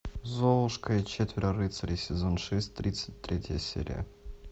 золушка и четверо рыцарей сезон шесть тридцать третья серия